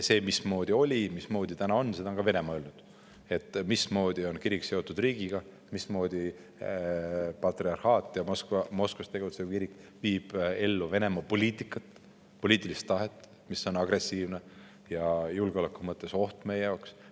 Seda, mismoodi oli ja mismoodi nüüd on, on ka Venemaa öelnud – mismoodi on kirik seotud riigiga, mismoodi patriarhaat ja Moskvas tegutsev kirik viib ellu Venemaa poliitikat, poliitilist tahet, mis on agressiivne ja julgeoleku mõttes oht meie jaoks.